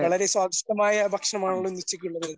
വളരെ സ്വാദിഷ്ടമായ ഭക്ഷമാണല്ലോ ഇന്ന് ഉച്ചയ്ക്ക് ഉള്ളത്.